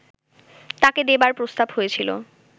তাঁকে দেবার প্রস্তাব হয়েছিল